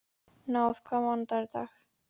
Náð, hvaða mánaðardagur er í dag?